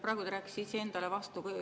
Praegu te rääkisite iseendale vastu.